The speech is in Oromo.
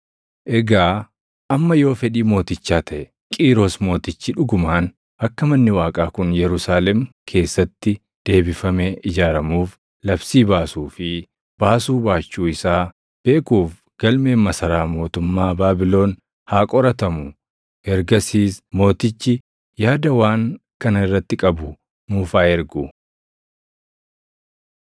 Egaa amma yoo fedhii mootichaa taʼe, Qiiros Mootichi dhugumaan akka manni Waaqaa kun Yerusaalem keessatti deebifamee ijaaramuuf labsii baasuu fi baasuu baachuu isaa beekuuf galmeen masaraa mootummaa Baabilon haa qoratamu. Ergasiis mootichi yaada waan kana irratti qabu nuuf haa ergu.